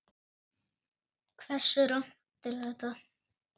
Hversu rangt er þetta?